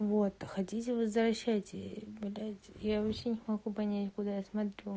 вот хотите возвращайте блять я вообще не могу понять куда я смотрю